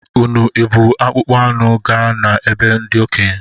Unu ebu akpụkpọ anụ gaa na be ndi okenye?